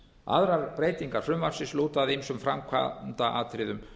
aðrar breytingar frumvarpsins lúta að ýmsum framkvæmda atriðum